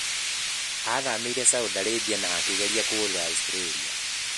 Aathamĩire Saudi Arabia na akĩgeria kũũrĩra Australia.